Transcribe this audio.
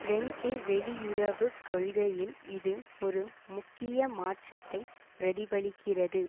French வெளியுறவு கொள்கையில் இது ஒரு முக்கிய மாற்றத்தை பிரதிபலிக்கிறது